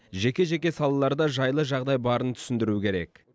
жеке жеке салаларда жайлы жағдай барын түсіндіру керек